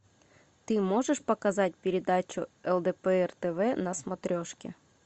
ты можешь показать передачу лдпр тв на смотрешке